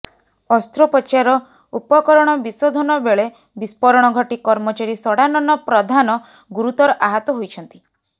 ଅସ୍ତ୍ରୋପଚାର ଉପକରଣ ବିଶୋଧନ ବେଳେ ବିସ୍ଫୋରଣ ଘଟି କର୍ମଚାରୀ ଷଡ଼ାନନ ପଧାନ ଗୁରୁତର ଆହତ ହୋଇଛନ୍ତି